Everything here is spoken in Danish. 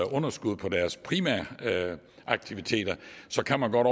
underskud på deres primære aktiviteter så kan man godt